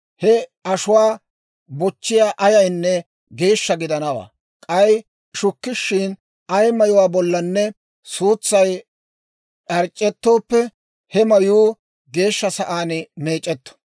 He ashuwaa bochchiyaa ayaynne geeshsha gidanawaa; k'ay shukkishiin ay mayuwaa bollanne suutsay d'ac'ettooppe, he mayuu geeshsha sa'aan meec'etto.